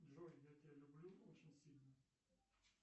джой я тебя люблю очень сильно